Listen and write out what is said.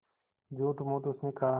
झूठमूठ उसने कहा